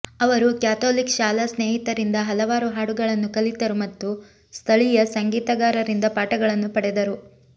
ಅವರು ಕ್ಯಾಥೋಲಿಕ್ ಶಾಲಾ ಸ್ನೇಹಿತರಿಂದ ಹಲವಾರು ಹಾಡುಗಳನ್ನು ಕಲಿತರು ಮತ್ತು ಸ್ಥಳೀಯ ಸಂಗೀತಗಾರರಿಂದ ಪಾಠಗಳನ್ನು ಪಡೆದರು